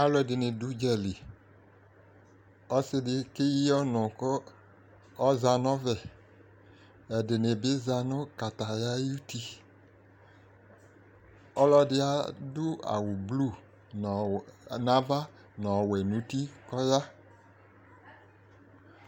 Alu ɛdini dʋ udzali Ɔsidi keyi ɔnu kʋ ɔza nɔvɛƐdini bi za nʋ kataya ayutiƆlɔdi adʋ awu blu nava nu ɔwɛ nuti, kɔya